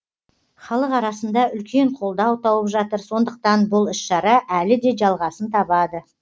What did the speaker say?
халық арасында үлкен қолдау тауып жатыр сондықтан бұл іс шара әлі де жалғасын табады